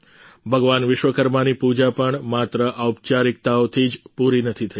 ભગવાન વિશ્વકર્માની પૂજા પણ માત્ર ઔપચારિકતાઓથી જ પૂરી નથી થઈ